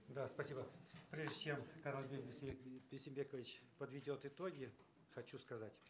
да спасибо прежде чем канатбек бейсенбекович подведет итоги хочу сказать